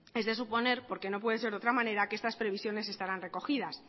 es de suponer como no puede ser de otra manera que estas previsiones estarán recogidas